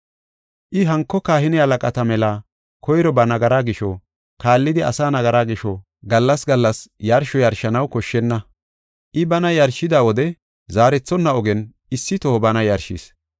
I hanko kahine halaqata mela koyro ba nagara gisho, kaallidi asaa nagaraa gisho gallas gallas yarsho yarshanaw koshshenna. I bana yarshida wode zaarethonna ogen issi toho bana yarshis.